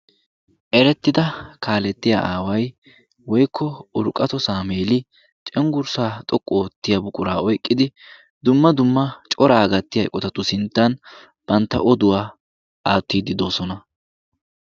Eretidda kaaletiyaa aaway woykko Urqqatto Samuel cenggurssa xoqqu oottiya buqura oyqqidi dumma dumma cora gattiyaa eqqotatu sinttan bantta oduwaa aattide doosona.